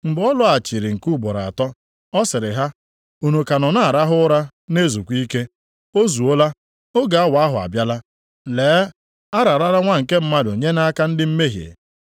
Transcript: Mgbe ọ lọghachiri nke ugboro atọ, ọ sịrị ha, “Unu ka nọ na-arahụ ụra na-ezukwa ike? O zuola! Oge awa ahụ abịala. Lee, a rarala Nwa nke Mmadụ nye nʼaka ndị mmehie.